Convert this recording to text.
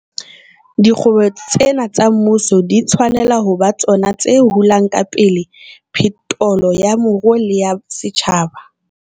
Dikgwebo tsena tsa mmuso di tshwanela ho ba tsona tse hulang ka pele phetolo ya moruo le ya setjhaba.